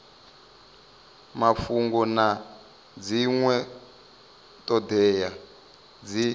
mafhungo na dzinwe thodea dzi